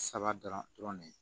Saba dɔrɔn ne ye